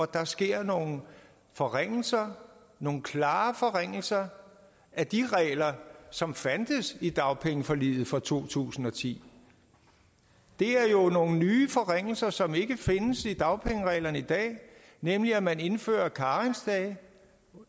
der sker nogle forringelser nogle klare forringelser af de regler som fandtes i dagpengeforliget fra to tusind og ti det er jo nogle nye forringelser som ikke findes i dagpengereglerne i dag nemlig at man indfører karensdage